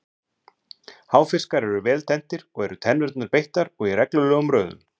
Háfiskar eru vel tenntir og eru tennurnar beittar og í reglulegum röðum.